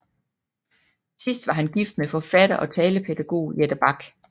Sidst var han gift med forfatter og talepædagog Jette Bak